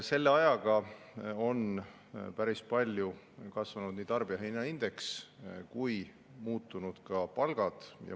Selle ajaga on päris palju kasvanud tarbijahinnaindeks, kuid muutunud on ka palgad.